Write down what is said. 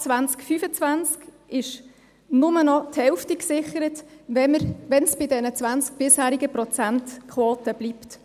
Ab 2025 ist nur noch die Hälfte gesichert, wenn es bei der bisherigen 20-Prozent-Quote bleibt.